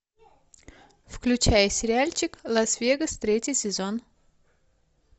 включай сериальчик лас вегас третий сезон